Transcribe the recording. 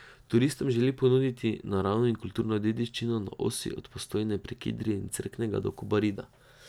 Turistom želi ponuditi naravno in kulturno dediščino na osi od Postojne prek Idrije in Cerknega do Kobarida.